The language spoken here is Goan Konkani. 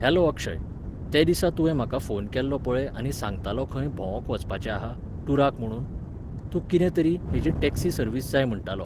हॅलो अक्षय, ते दिसा तुवें म्हाका फोन केल्लो पळय आनी सांगतालो खंय भोवोंक वचपाचें आहा, टुराक म्हुणून. तूं कितें तरी, हेची टॅक्सी सर्विस जाय म्हणटालो